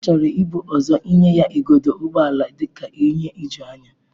Ọ chọrọ ibu ụzọ nye ya igodo ụgbọ ala dị ka ihe ijuanya.